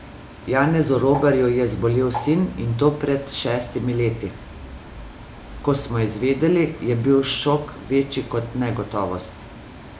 Janezu Robarju je zbolel sin in to pred šestimi leti: "Ko smo izvedeli, je bil šok večji kot negotovost.